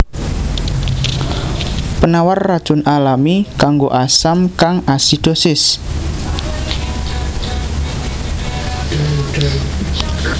Penawar racun alami kanggo asam kang asidosis